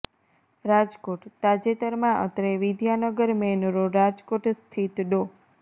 રાજકોટઃ તાજેતરમાં અત્રે Vidyanagar main road Rajkot સ્થિત ડો